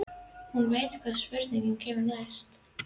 Hún veit hvaða spurning kemur næst.